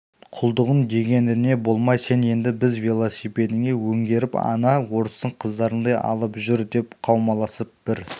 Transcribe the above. құлдығың дегеніне болмай сен енді бізді велосипедіңе өңгеріп ана орыстың қыздарындай алып жүр деп қаумаласып бір